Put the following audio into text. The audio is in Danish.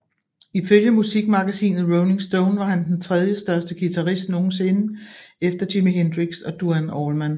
Ifølge musikmagasinet Rolling Stone var han den tredjestørste guitarist nogensinde efter Jimi Hendrix og Duane Allman